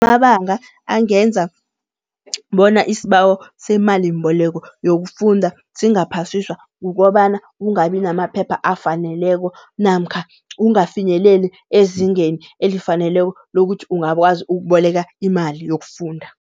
Amabanga angenza bona isibawo semalimbeleko yokufunda singaphasiswa, kukobana kungabi namaphepha afaneleko namkha ungafinyeleli ezingeni elifaneleko lokuthi ungakwazi ukuboleka imali yokufunda.